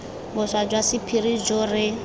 boswa jwa sephiri jo re